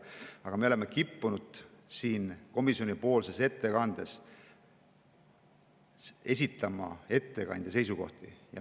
Aga me oleme kippunud komisjoni ettekandes esitama ettekandja seisukohti.